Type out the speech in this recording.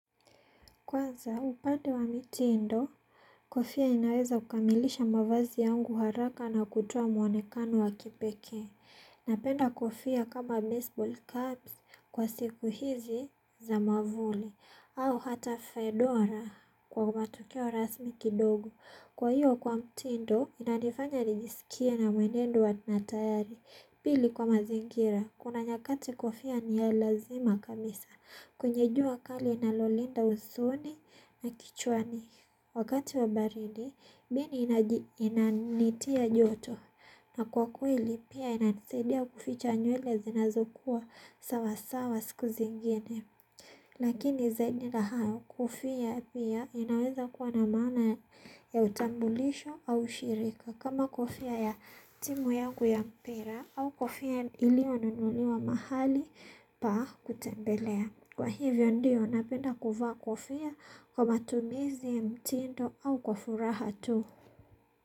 Kwanza, upande wa mitindo, kofia inaweza kukamilisha mavazi yangu haraka na kutoa mwonekano wa kipekee. Napenda kofia kama baseball caps kwa siku hizi za mavuno ama hata fesora kwa matokeo rasmi kidogo kwa hiyo kwa mtindo, inanifanya nijisikie na mwenendo wa tayari. Pili kwa mazingira, kuna nyakati kofia ni ya lazima kanisa. Kwenye jua kali linalolinda usuni na kichwani wakati wa baridi mimi inanitia joto na kwa kweli pia yananisaidia kuficha nywele zinazokuwa sawa sawa siku zingine. Lakini zaidi na hayo kofia pia inaweza kuwa na maana ya utambulisho au ushirika kama kofia ya timu yangu ya mpira au kofia iliyonunuliwa mahali pa kutembelea. Kwa hivyo ndio napenda kuvaa kofia kwa matumizi mtindo au kwa furaha tu.